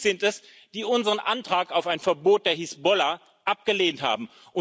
Sie sind es, die unseren Antrag auf ein Verbot der Hisbollah abgelehnt haben.